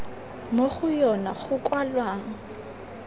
mo go yona go kwalwang